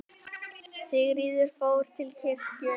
Sigríður fór til kirkju.